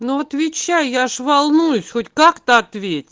ну отвечай я же волнуюсь хоть как-то